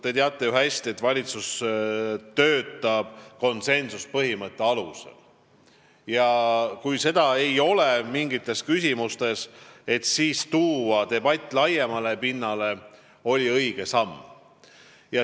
Te teate ju hästi, et valitsus töötab konsensuspõhimõtte alusel ja kui seda mingites küsimustes ei ole, siis on õige debatt laiemale pinnale tuua.